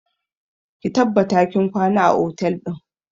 Ki tabbata kin kwana a otel ɗin!